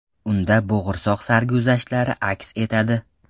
Unda bo‘g‘irsoq sarguzashtlari aks etadi.